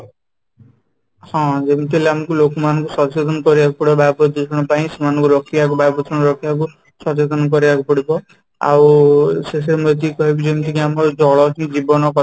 ହଁ, ଯେମିତି ହେଲେ ଆମକୁ ଲୋକମାନଙ୍କୁ ସଚେତନ କରେଇବାକୁ ପଡିବ ବାୟୁ ପ୍ରଦୂଷଣ ପାଇଁ ସେମାଙ୍କୁ ରୋକିବାକୁ ବାୟୂପ୍ରଦୂଷଣ ରୋକିବାକୁ ସଚେତନ କରେଇବାକୁ ପଡିବ ଆଉ ସେମିତି କହିବୁ କି ଯେମିତି ଆମର ଜଳ ହିଁ ଜୀବନ